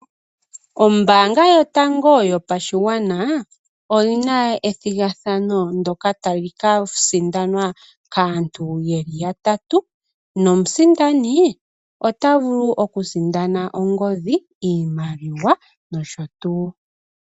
Oombanga yatango yopashigwana oyina ethigathano ndoka tali ka sindanwa kaantu yeli ya tatu nomusindani ota vulu oku sindana ongodhi, iimaliwa nosho tuu.